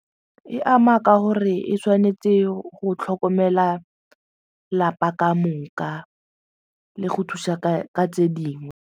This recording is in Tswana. E ama ka gore e tshwanetse go tlhokomela 'lapa kamoka le go thusa ka tse dingwe.